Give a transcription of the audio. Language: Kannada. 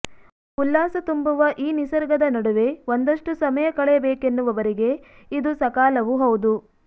ಉಲ್ಲಾಸ ತುಂಬುವ ಈ ನಿಸರ್ಗದ ನಡುವೆ ಒಂದಷ್ಟು ಸಮಯ ಕಳೆಯ ಬೇಕೆನ್ನುವವರಿಗೆ ಇದು ಸಕಾಲವೂ ಹೌದು